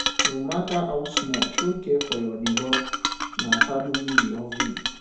no matter how small show care for your neighbor na family we all be